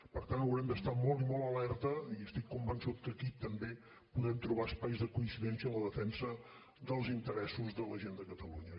per tant haurem d’estar molt i molt alerta i estic convençut que aquí també podem trobar espais de coincidència en la defensa dels interessos de la gent de catalunya